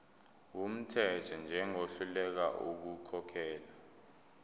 wumthetho njengohluleka ukukhokhela